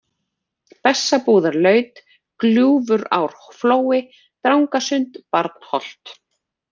Bessabúðarlaut, Gljúfurárflói, Drangasund, Barnholt